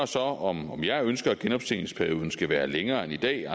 så om jeg ønsker at genoptjeningsperioden skal være længere end i dag